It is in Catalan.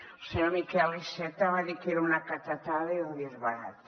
el senyor miquel iceta va dir que era una catetada i un disbarat